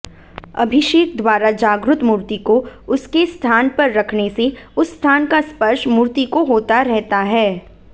अभिषेकद्वारा जागृत मूर्तिको उसके स्थानपर रखनेसे उस स्थानका स्पर्श मूर्तिको होता रहता है